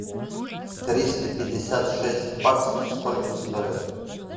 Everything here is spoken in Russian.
триста пятьдесят шесть баксов сколько стоит